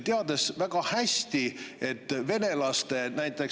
Teades väga hästi, et näiteks venelaste laskemoona …